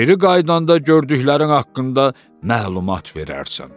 Geri qayıdanda gördüklərin haqqında məlumat verərsən.